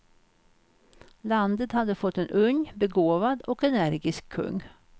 Landet hade fått en ung, begåvad och energisk kung.